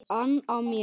ann á mér.